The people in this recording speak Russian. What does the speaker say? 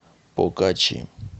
покачи